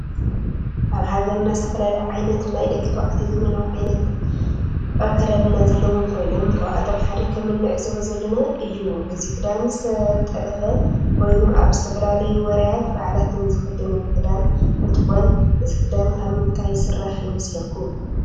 አብ ሃገርና ዝተፈላለዩ ዓይነት ናይ ደቂ ተባዕትዮ ዘመናዊ ዓይነት አክዳድና ዘለዎ ኮይኖም ካብአቶም ሓደ ከም እንዕዞቦ ዘለና እዩ። እዚ ክዳነ ዝተጠለፈ ኮይኑ አብ ዝተፈላለዩ ወራያት በዓላትን ዝክደንዎ ክዳን እንትኮን እዚ ክዳን ካብ ምንታይ ዝስራሕ ይመስለኩም?